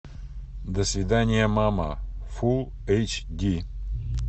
до свидания мама фул эйч ди